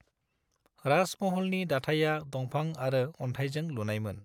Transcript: राजमहलनि दाथाइआ दंफां आरो अनथायजों लुनायमोन।